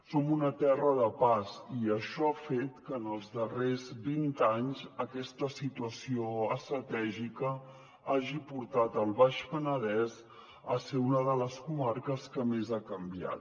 som una terra de pas i això ha fet que en els darrers vint anys aquesta situació estratègica hagi portat el baix penedès a ser una de les comarques que més ha canviat